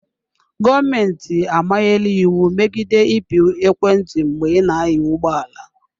Gọọmentị amanyela iwu megide ịpị ekwentị mgbe ị na-anya ụgbọ ala.